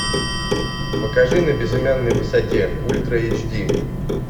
покажи на безымянной высоте ультра эйч ди